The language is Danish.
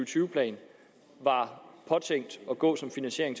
tyve plan var påtænkt at gå til finansiering